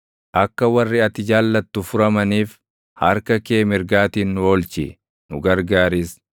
Akka warri ati jaallattu furamaniif, harka kee mirgaatiin nu oolchi; nu gargaaris.